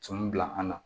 Cun bila an na